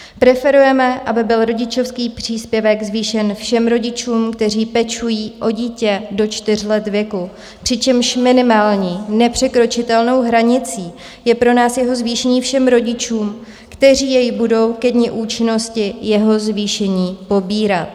Preferujeme, aby byl rodičovský příspěvek zvýšen všem rodičům, kteří pečují o dítě do čtyř let věku, přičemž minimální nepřekročitelnou hranicí je pro nás jeho zvýšení všem rodičům, kteří jej budou ke dni účinnosti jeho zvýšení pobírat.